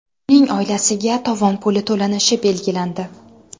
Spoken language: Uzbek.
Uning oilasiga tovon puli to‘lanishi belgilandi.